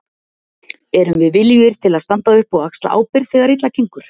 Erum við viljugir til að standa upp og axla ábyrgð þegar illa gengur?